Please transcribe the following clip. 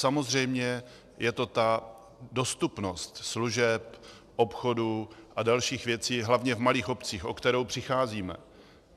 Samozřejmě je to ta dostupnost služeb, obchodu a dalších věcí hlavně v malých obcích, o kterou přicházíme.